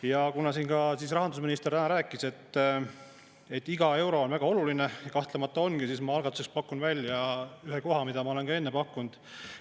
Ja kuna rahandusminister siin täna rääkis, et iga euro on väga oluline – kahtlemata ongi –, siis ma algatuseks pakun välja ühe koha, mida ma olen ka enne pakkunud.